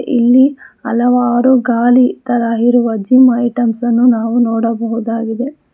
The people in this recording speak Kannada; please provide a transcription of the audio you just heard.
ಇಲ್ಲಿ ಹಲವಾರು ಗಾಲಿ ತರ ಇರುವ ಜಿಮ್ ಐಟಂಸ್ ಅನ್ನು ನಾವು ನೋಡಬಹುದಾಗಿದೆ.